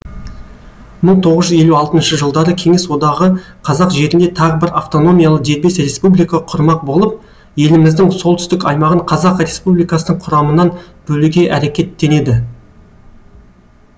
мың тоғыз жүз елу алтыншы жылдары кеңес одағы қазақ жерінде тағы бір автономиялы дербес республика құрмақ болып еліміздің солтүстік аймағын қазақ республикасының құрамынан бөлуге әрекеттенеді